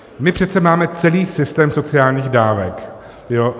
My přece máme celý systém sociálních dávek.